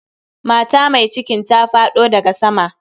Mata mai cikin ta faɗo daga sama.